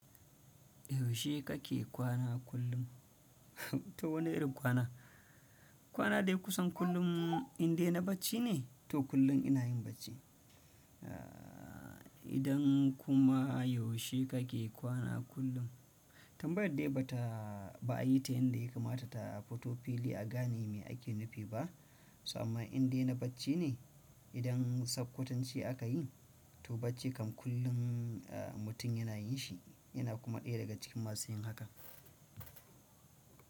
Yaushe kake kwana kullum? To wani irin kwana? Kwana da kusan kullum indai na bacci ne? To kullum ina yin bacci. Idan kuma yaushe kake kwana kullum? Tambayar dai ba ta, ba a yi ta yadda ya kamata ta fito fili a gane me ake nufi ba. Sannan indai na bacci ne? Idan sakwatance aka yi to bacci kam kullum mutum yana yin shi, yana kuma ɗaya daga cikin masu yin haka.